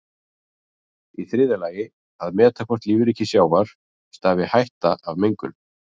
Í þriðja lagi að meta hvort lífríki sjávar stafi hætta af mengun.